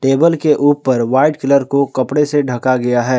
Table के ऊपर white colour को कपड़े से ढका गया है।